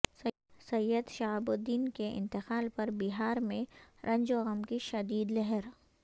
سید Shahabuddin کے انتقال پربہار میں رنج و غم کی شدید لہر